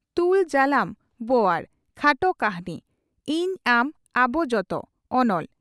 "ᱛᱩᱞ ᱡᱟᱞᱟᱢ ᱵᱚᱣᱟᱲ" (ᱠᱷᱟᱴᱚ ᱠᱟᱹᱦᱱᱤ)ᱤᱧ ᱟᱢ ᱟᱵᱚ ᱡᱚᱛᱚ (ᱚᱱᱚᱞ)